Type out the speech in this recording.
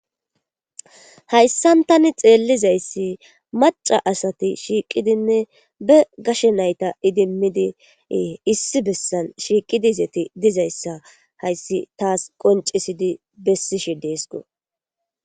hayssan tani xeellizayssi maca asati shiiqidinne be gashe nayta idimmidiee issi bessan shiiqidizeti dizayssa hayssi taas qoncisidi bessishe deesko